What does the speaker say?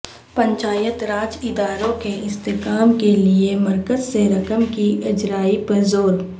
پنچایت راج اداروں کے استحکام کیلئے مرکز سے رقم کی اجرائی پر زور